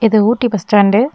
இது Ooty bus stand .